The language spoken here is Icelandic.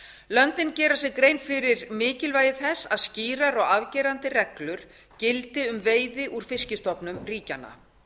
löndin gera sér grein fyrir mikilvægi þess að skýrar og afgerandi reglur gildi um veiði úr fiskstofnum ríkjanna